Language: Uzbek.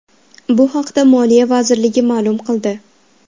Bu haqda Moliya vazirligi ma’lum qildi .